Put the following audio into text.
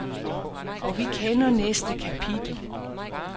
Og vi kender næste kapitel.